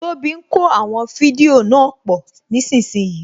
Tóbi ń kó àwọn fídíò náà pọ̀ nísìínyi